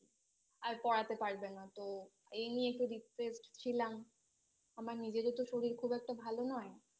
আর পড়াতে পারবে না তো এই নিয়ে একটু Depressed ছিলাম আমার নিজেরও তো শরীর খুব একটা ভালো নয়